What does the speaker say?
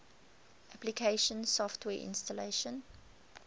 application software installation